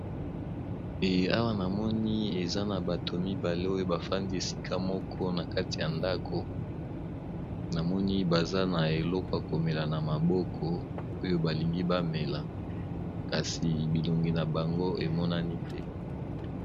eawa namoni eza na bato mibale oyo bafandi esika moko na kati ya ndako namoni baza na elokwa komela na maboko oyo balingi bamela kasi bilongi na bango emonani te